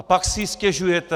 A pak si stěžujete.